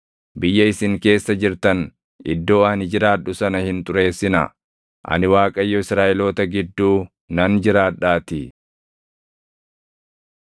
Biyya isin keessa jirtan iddoo ani jiraadhu sana hin xureessinaa. Ani Waaqayyo Israaʼeloota gidduu nan jiraadhaatii.’ ”